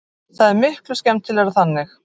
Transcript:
Það er miklu skemmtilegra þannig.